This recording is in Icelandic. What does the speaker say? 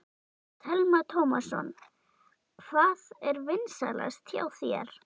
Telma Tómasson: Hvað er vinsælast hjá þér?